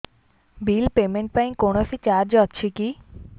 bill payment ପାଇଁ କୌଣସି charge ଅଛି କି